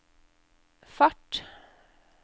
fart